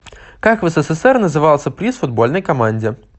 как в ссср назывался приз футбольной команде